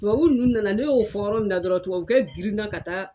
Tubabu ninnu nana ne y'o fɔ yɔrɔ min na dɔrɔn tubabukɛ girinna ka taa